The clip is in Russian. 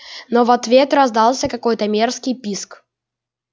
но в ответ раздался какой-то мерзкий писк